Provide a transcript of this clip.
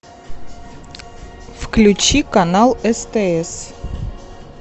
включи канал стс